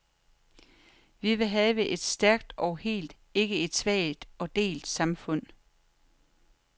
Vi vil have et stærkt og helt, ikke et svagt og delt samfund.